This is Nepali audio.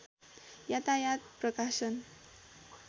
यातायात प्रकाशन